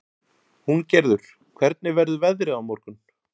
Húngerður, hvernig verður veðrið á morgun?